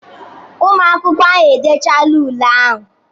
Ụmụ akwụkwọ ahụ edechaala ule ha.